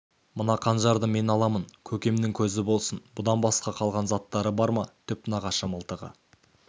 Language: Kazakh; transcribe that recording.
мына қанжарды мен аламын көкемнің көзі болсын бұдан басқа қалған заттары бар ма түп нағашы мылтығы